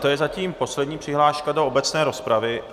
To je zatím poslední přihláška do obecné rozpravy.